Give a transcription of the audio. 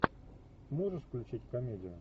можешь включить комедию